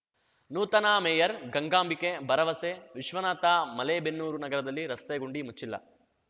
ನೂತನ ಮೇಯರ್‌ ಗಂಗಾಂಬಿಕೆ ಭರವಸೆ ವಿಶ್ವನಾಥ ಮಲೇಬೆನ್ನೂರು ನಗರದಲ್ಲಿ ರಸ್ತೆ ಗುಂಡಿ ಮುಚ್ಚಿಲ್ಲ